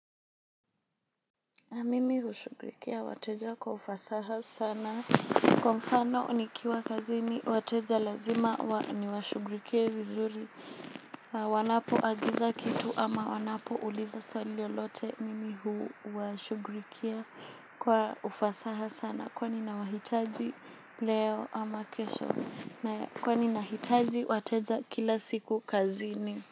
Mimi hushughulikia wateja kwa ufasaha sana. Kwa mfano nikiwa kazini, wateja lazima niwashughulikie vizuri. Wanapoagiza kitu ama wanapouliza swali lolote. Mimi huwashughulikia kwa ufasaha sana. Kwani nawahitaji leo ama kesho. Kwani nahitaji wateja kila siku kazini.